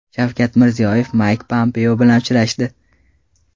Shavkat Mirziyoyev Mayk Pompeo bilan uchrashdi.